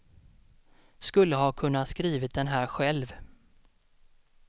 Skulle ha kunna skrivit den här själv.